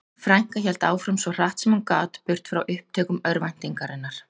Frænka hélt áfram svo hratt sem hún gat burt frá upptökum örvæntingarinnar.